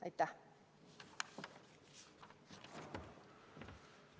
Aitäh!